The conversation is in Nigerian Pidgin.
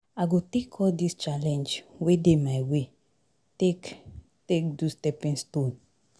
I go take all dis challenge wey dey my way take take do stepping stone.